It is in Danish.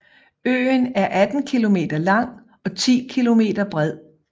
Øen er 18 km lang og 10 km bred